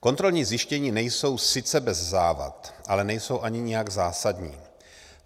Kontrolní zjištění nejsou sice bez závad, ale nejsou ani nijak zásadní.